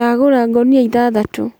Ndagũra ngũnia ithathatũ.